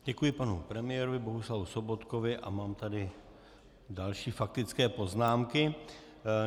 Děkuji panu premiérovi Bohuslavu Sobotkovi a mám tady další faktické poznámky.